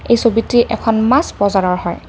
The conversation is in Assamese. এই ছবিটি এখন মাছ বজাৰৰ হয়।